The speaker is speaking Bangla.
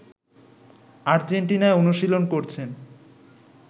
আর্জেন্টিনায় অনুশীলন করছেন